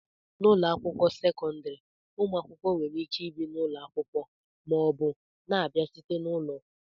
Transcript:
n'ụlọ akwụkwọ sekọndrị, ụmụ akwụkwọ nwere ike ibi na ụlọ akwụkwọ ma ọ bụ na-abịa site n'ụlọ